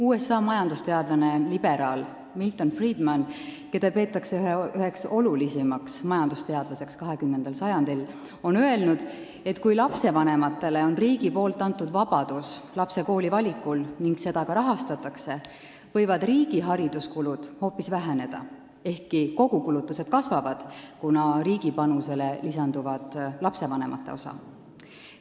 USA majandusteadlane liberaal Milton Friedman, keda peetakse üheks kõige olulisemaks majandusteadlaseks 20. sajandil, on öelnud, et kui riik on lastevanematele andnud vabaduse lapsele kooli valida ning seda ka rahastatakse, võivad riigi hariduskulud hoopis väheneda, ehkki kogukulutused kasvavad, kuna riigi panusele lisandub lastevanemate osa.